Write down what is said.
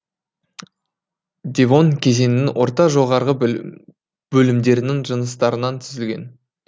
девон кезеңінің орта жоғарғы бөлімдерінің жыныстарынан түзілген